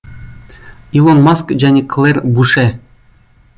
илон маск және клэр буше